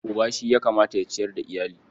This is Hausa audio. Uba shi ya kamata ya ciyar da iyali.